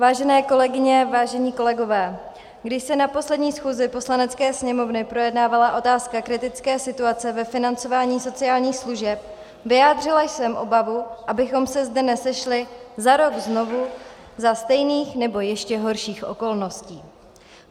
Vážené kolegyně, vážení kolegové, když se na poslední schůzi Poslanecké sněmovny projednávala otázka kritické situace ve financování sociálních služeb, vyjádřila jsem obavu, abychom se zde nesešli za rok znovu za stejných, nebo ještě horších okolností.